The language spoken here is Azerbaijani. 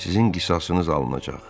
Sizin qisasınız alınacaq.